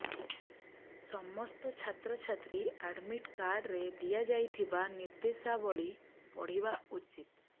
ସମସ୍ତ ଛାତ୍ରଛାତ୍ରୀ ଆଡମିଟ୍ କାର୍ଡରେ ଦିଆଯାଇଥିବା ନିର୍ଦ୍ଦେଶାବଳୀ ପଢିବା ଉଚିତ୍